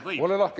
Võib?